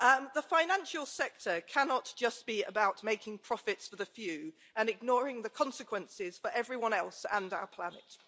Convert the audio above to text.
The financial sector cannot just be about making profits for the few and ignoring the consequences for everyone else and our planet.